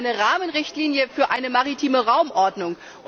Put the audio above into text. Es ist eine Rahmenrichtlinie für eine maritime Raumordnung.